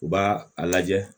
U b'a a lajɛ